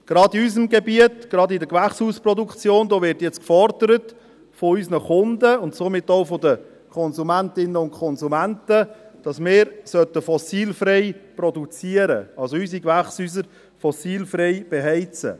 Gerade in unserem Gebiet – in der Gewächshausproduktion – wird jetzt von unseren Kunden und somit auch von den Konsumentinnen und Konsumenten gefordert, dass wir fossilfrei produzieren sollten, unsere Gewächshäuser also fossilfrei beheizen.